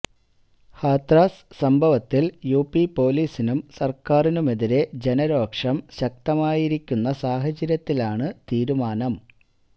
ഹാത്രാസ് സംഭവത്തില് യുപി പൊലീസിനും സര്ക്കാരിനുമെതിരെ ജനരോഷം ശക്തമായിരിക്കുന്ന സാഹചര്യത്തിലാണ് തീരുമാനം